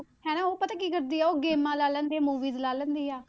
ਹਨਾ ਉਹ ਪਤਾ ਕੀ ਕਰਦੀ ਹੈ, ਉਹ ਗੇਮਾਂ ਲਾ ਲੈਂਦੀ ਹੈ movies ਲਾ ਲੈਂਦੀ ਆ,